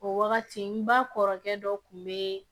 O wagati n kɔrɔkɛ dɔ tun be yen